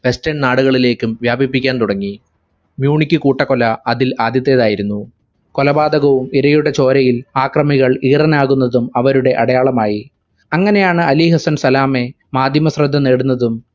western നാടുകളിലേക്കും വ്യാപിപ്പിക്കാൻ തുടങ്ങി. മ്യുണിക്ക് കൂട്ടക്കൊല അതിൽ ആദ്യത്തേതായിരുന്നു. കൊലപാതകവും ഇരയുടെ ചോരയിൽ ആക്രമികൾ ഈറനാകുന്നതും അവരുടെ അടയാളമായി. അങ്ങനെയാണ് അലിഹസ്സൻ സലാമേ മാധ്യമശ്രദ്ധ നേടുന്നതും